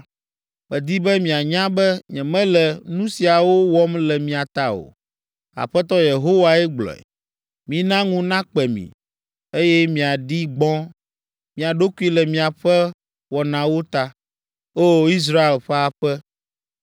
Medi be mianya be nyemele nu siawo wɔm le mia ta o; Aƒetɔ Yehowae gblɔe. Mina ŋu nakpe mi, eye miaɖi gbɔ̃ mia ɖokui le miaƒe wɔnawo ta, O! Israel ƒe aƒe.”